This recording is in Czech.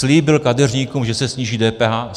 Slíbil kadeřníkům, že se sníží DPH.